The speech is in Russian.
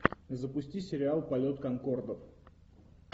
запусти сериал полет конкордов